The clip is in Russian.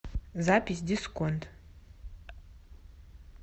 запись дисконт